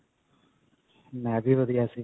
ਮੈਂ ਵੀ ਵਧੀਆ ਸੀ.